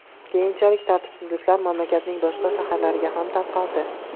Keyinchalik tartibsizliklar mamlakatning boshqa shaharlariga ham tarqaldi.